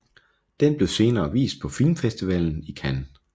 Den blev senere vist på Filmfestivalen i Cannes